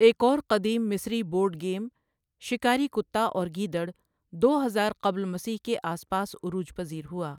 ایک اور قدیم مصری بورڈ گیم، شکاری کتا اور گیدڑ، ، دو ہزار قبل مسیح کے آس پاس عروج پذیر ہوا۔